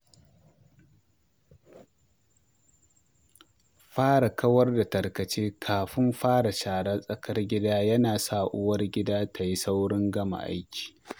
Fara kawar da tarkace kafin fara sharar tsakar gida yana sawa uwargida ta yi saurin gama aiki.